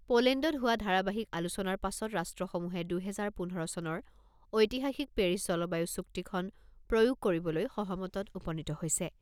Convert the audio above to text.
পোলেণ্ডত হোৱা ধাৰাবাহিক আলোচনাৰ পাছত ৰাষ্ট্ৰসমূহে দুহেজাৰ পোন্ধৰ চনৰ ঐতিহাসিক পেৰিছ জলবায়ু চুক্তিখন প্ৰয়োগ কৰিবলৈ সহমতত উপনীত হৈছে।